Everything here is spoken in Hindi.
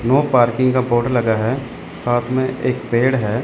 नो पार्किंग का बोर्ड लगा है साथ में एक पेड़ है।